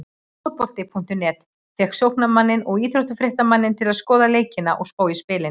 Fótbolti.net fékk sóknarmanninn og íþróttafréttamanninn til að skoða leikina og spá í spilin.